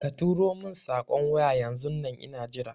Katuro mun saƙon waya yanzun nan ina jira